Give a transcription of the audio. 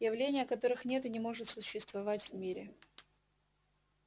явления которых нет и не может существовать в мире